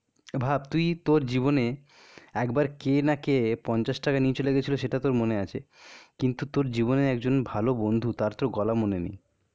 ভাব তুই তোর জীবনে একবার কে না কে পঞ্চাশ টাকা নিয়ে চলে গেছিল সেটা তোর মনে আছে. কিন্তু তোর জীবনে একজন ভালো বন্ধু তার তোর গলা মনে নেই.